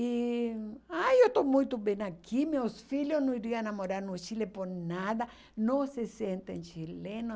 E, ai, eu estou muito bem aqui, meus filhos não iriam a morar no Chile por nada, não se sentem chilenos.